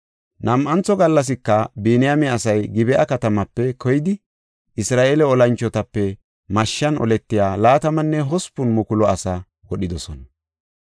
Nam7antho gallasika Biniyaame asay Gib7a katamaape keyidi, Isra7eele olanchotape mashshan oletiya 28,000 asaa wodhidosona.